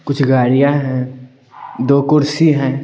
कुछ गाड़ियां हैं दो कुर्सी हैं।